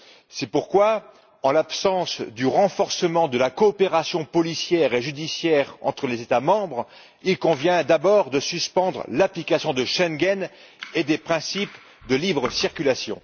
C'est pourquoi, en l'absence du renforcement de la coopération policière et judiciaire entre les États membres, il convient d'abord de suspendre l'application de l'accord de Schengen et des principes de libre circulation.